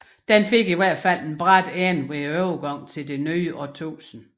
Den fik i hvert fald en brat ende ved overgangen til det nye årtusinde